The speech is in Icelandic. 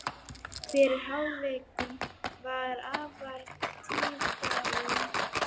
Fyrri hálfleikurinn var afar tíðindalítill.